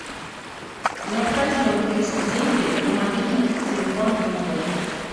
необходимо перевести деньги на мобильный телефон друга